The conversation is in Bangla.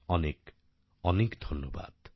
অনেক অনেক ধন্যবাদ